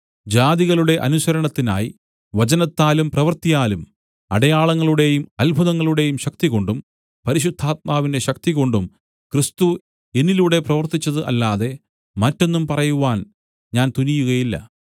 ജാതികളുടെ അനുസരണത്തിനായിട്ട് വചനത്താലും പ്രവൃത്തിയാലും അടയാളങ്ങളുടെയും അത്ഭുതങ്ങളുടെയും ശക്തികൊണ്ടും പരിശുദ്ധാത്മാവിന്റെ ശക്തികൊണ്ടും ക്രിസ്തു എന്നിലൂടെ പ്രവർത്തിച്ചത് അല്ലാതെ മറ്റൊന്നും പറയുവാൻ ഞാൻ തുനിയുകയില്ല